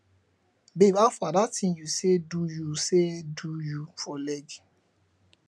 babe howfar dat thing you say do you say do you for leg